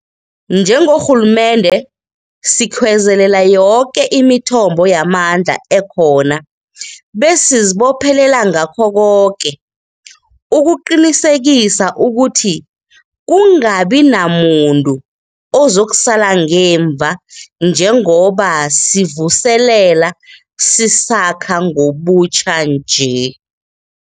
Njengorhulumende, sikhwezelela yoke imithombo yamandla ekhona besizibophelela ngakho koke ukuqinisekisa ukuthi kungabi namuntu ozakusala ngemva njengoba sivuselela, sisakha ngobutjha nje.